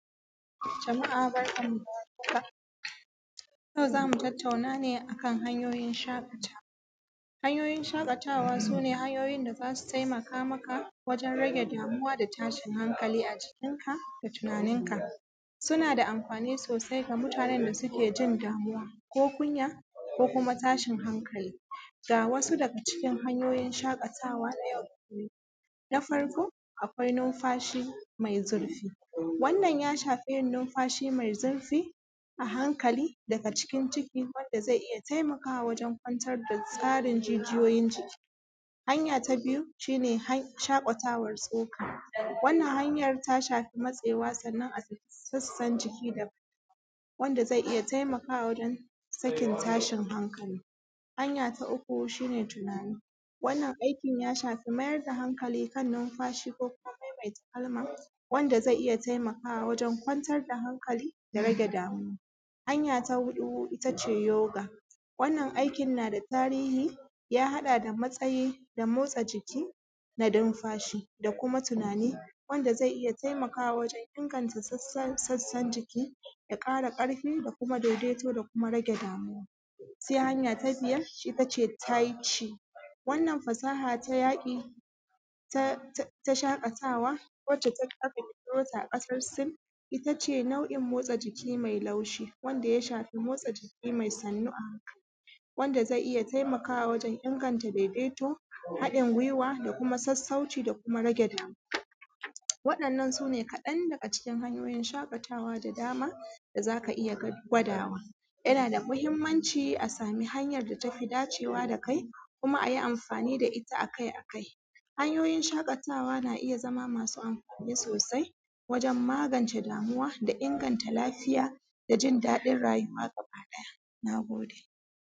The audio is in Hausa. Jama’a barkan mu dawar haka. yau zamu tattauna ne akan hanyoyin shaƙatawa. Hanyoyin shaƙatawa sune hanyoyin da zasu taimaka maka wagen rage damuwa da tashin hankali a jinka da tunaninka, suna da amfani sosai ga mutanen da sukejin damuwa ko kunya ko kuma tashin hankali. Ga wasu daga cikin hanyoyin shaƙatawa na yau da kullum. Na farko akwai numfashi mai zurfi, wannan ya shifi yin numfashi mai zurfi a hankali daga cikin ciki wanda zai iya taimakawa kwantar da tsarin jijiyoyin jiki. Hanya tabiyu shine shaƙatawar tsoka wannan hanyar ta shafi matsewar sannan a sassan jiki daban wanda zai taimaka wajen sakin hankali. Hanya ta uku shine tunani wannan aikin ya shafi mayar da hankali kan numfashi ko kuma maimaita kalma wanda zai iya taimakawa wajen kwantar da hankalai da rage damuwa. Hanya ta huɗu yoga wannan hanyan nada tarihi ya haɗa damatsayi da motsa jiki da numafshi da kumatunani wanda zai taimaka wajen inganta sassan jiki ya ƙaƙarfi da kuma daidaito da kuma rage damuwa. Sai hanya a biyar taici, wannan fasaha ta yaƙi, ta shaƙatawa wanda aka ƙirƙirota a ƙasar sin ittace nau’in mai laushi wanda ya shafi motsa jiki mai sannu a hankali wanda zai iyya taimakawa wajen inganta daidaito haɗin guiwa da kuma sassauci da kuma rage damuwa. Waɗannan sune kaɗan daga cikin hanyoyin shaƙatawa da zaka iyya gwadawa. Yanada mahimmanci a sami hanyar da tafi dacewa da kai kuma ayi amfani da itta akai akai. Hanyoyin shaƙatawa na iya masu amfani sosai wajen magance damuwa da inganta lafiya dajin daɗin rayuwa gaba ɗaya. Nagode.